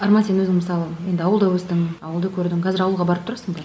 арман сен өзің мысалы енді ауылда өстің ауылды көрдің қазір ауылға барып тұрасың ба